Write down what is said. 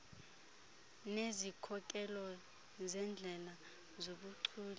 nezikhokelo zeendlela zobuchule